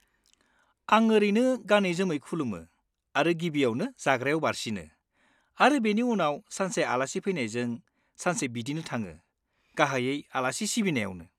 आं ओरैनो गानै जोमै खुलुमो आरो गिबियावनो जाग्रायाव बारसिनो; आरो बेनि उनाव सानसे आलासि फैनायजों, सानसे बिदिनो थाङो, गाहायै आलासि सिबिनायावनो।